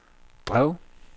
drev